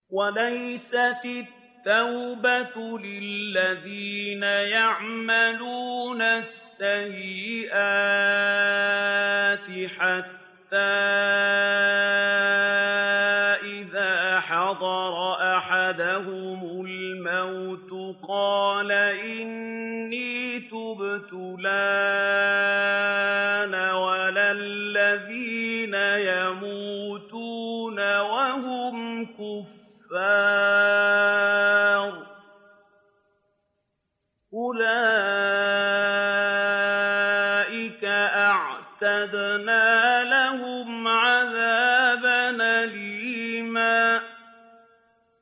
وَلَيْسَتِ التَّوْبَةُ لِلَّذِينَ يَعْمَلُونَ السَّيِّئَاتِ حَتَّىٰ إِذَا حَضَرَ أَحَدَهُمُ الْمَوْتُ قَالَ إِنِّي تُبْتُ الْآنَ وَلَا الَّذِينَ يَمُوتُونَ وَهُمْ كُفَّارٌ ۚ أُولَٰئِكَ أَعْتَدْنَا لَهُمْ عَذَابًا أَلِيمًا